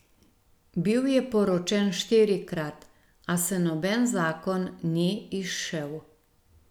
Bil je poročen štirikrat, a se noben zakon ni izšel.